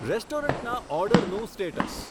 રેસ્ટોરન્ટના ઓર્ડરનું સ્ટેટસ